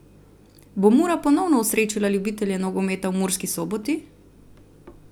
Bo Mura ponovno osrečila ljubitelje nogometa v Murski Soboti?